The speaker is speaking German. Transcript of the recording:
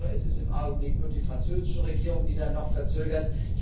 Ich höre, es ist im Augenblick nur die französische Regierung, die da noch verzögert.